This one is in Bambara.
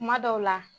Kuma dɔw la